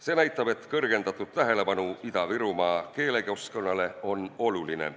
See näitab, et suurem tähelepanu Ida-Virumaa keelekeskkonnale on oluline.